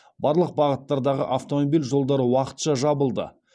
барлық бағыттардағы автомобиль жолдары уақытша жабылды